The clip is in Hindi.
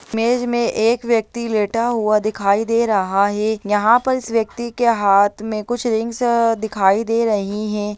इमेज में एक व्यक्ति लेटा हुआ दिखाई दे रहा है यहाँ पर इस व्यक्ति के हाथ में कुछ रिंग्स दिखाई दे रही हैं।